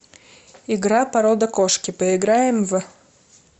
игра порода кошки поиграем в